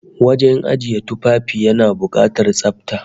Wajen ajiye tufafi yana bukatar tsafta